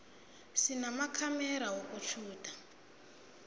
sinamakhamera wokutjhuda